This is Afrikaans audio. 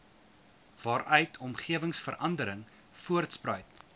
waaruit omgewingsverandering voortspruit